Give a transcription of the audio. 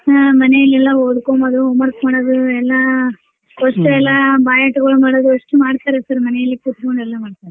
ಮನೇಲ್ ಎಲ್ಲಾ ಓದ್ಕೊಂಬದು homework ಮಾಡೋಡು ಎಲ್ಲಾ ಒಸ್ಟು ಎಲ್ಲಾ byheart ಗಳು ಮಾಡುದು ಒಸ್ಟು ಮಾಡ್ತಾರಿ sir ಮನೇಲೆ ಕೂತ್ಕೊಂಡು ಎಲ್ಲಾ ಮಾಡ್ತಾರಿ.